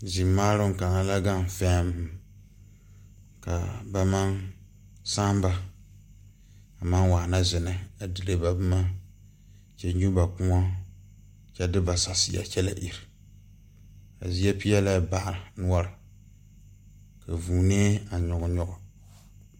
Zimaaroŋ kaŋa la gaŋ fɛmm kaa ba maŋ sããnba a maŋ waana zinɛ a dire ba boma kyɛ nyu ba kòɔ kyɛ de va saseɛ kyɛ la ire a zie peɛlɛɛ baa noɔre ka vūūnee a nyige nyige.